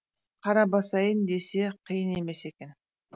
қара басайын десе қиын емес екен